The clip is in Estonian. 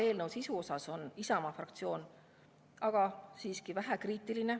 Eelnõu sisu suhtes on Isamaa fraktsioon aga siiski vähekriitiline.